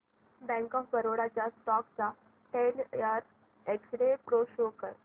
bank of Baroda च्या stock चा ten year x-ray pro show कर